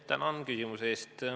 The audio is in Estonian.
Tänan küsimuse eest!